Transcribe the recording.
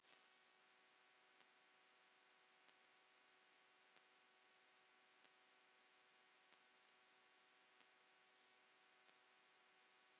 En ég er ekki hrædd.